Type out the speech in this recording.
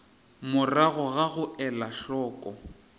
morago ga go ela hloko